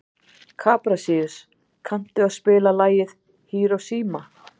Kaprasíus, kanntu að spila lagið „Hiroshima“?